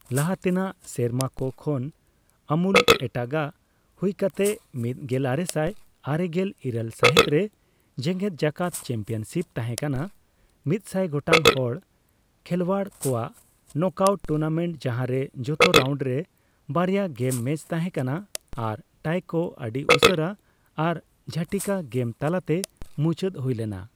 ᱞᱟᱦᱟᱛᱮᱱᱟᱜ ᱥᱮᱨᱢᱟ ᱠᱚ ᱠᱷᱚᱱ ᱟᱢᱩᱞ ᱮᱴᱟᱜᱟᱜ ᱦᱩᱭᱠᱟᱛᱮ, ᱑ ᱢᱤᱫ ᱜᱮᱞ ᱟᱨᱮᱥᱟᱭ ᱟᱨᱮᱜᱮᱞ ᱤᱨᱟᱹᱞ ᱥᱟᱹᱦᱤᱛ ᱨᱮ ᱡᱮᱜᱮᱫᱡᱟᱠᱟᱛ ᱪᱮᱢᱯᱤᱭᱚᱱᱥᱤᱯ ᱛᱟᱦᱮᱸᱠᱟᱱᱟ ᱢᱤᱫᱥᱟᱭ ᱜᱚᱴᱟᱝ ᱦᱚᱲ ᱠᱷᱮᱞᱣᱟᱲ ᱠᱚᱣᱟᱜ ᱱᱚᱠᱼᱟᱣᱩᱴ ᱴᱩᱨᱱᱟᱢᱮᱱᱴ, ᱡᱟᱦᱟᱸ ᱨᱮ ᱡᱚᱛᱚ ᱨᱟᱣᱩᱱᱰ ᱨᱮ ᱵᱟᱨᱭᱟ ᱜᱮᱢ ᱢᱮᱪ ᱛᱟᱦᱮᱸᱠᱟᱱᱟ ᱟᱨ ᱴᱟᱭ ᱠᱚ ᱟᱹᱰᱤ ᱩᱥᱟᱹᱨᱟ ᱟᱨ ᱡᱷᱚᱴᱤᱠᱟ ᱜᱮᱢ ᱛᱟᱞᱟᱛᱮ ᱢᱩᱪᱟᱹᱫ ᱦᱩᱭ ᱞᱮᱱᱟ ᱾